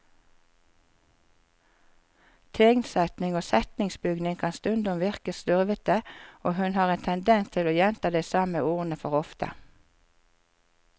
Tegnsetting og setningsbygning kan stundom virke slurvete, og hun har en tendens til å gjenta de samme ordene for ofte.